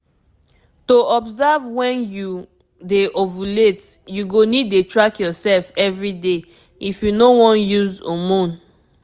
to observe when you dey ovulate you go need dey track yourself everyday if you no wan uise hormone